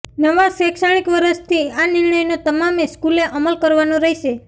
નવા શૈક્ષણિક વર્ષથી આ નિર્ણયનો તમામે સ્કૂલે અમલ કરવાનો રહેશે